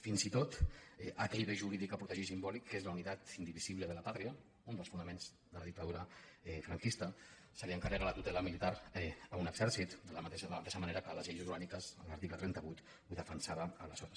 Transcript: fins i tot d’aquell bé jurídic a protegir simbòlic que és la unitat indivisible de la patriaments de la dictadura franquista se n’encarrega la tutela militar a un exèrcit de la mateixa manera que les lleis orgàniques en l’article trenta vuit ho defensaven aleshores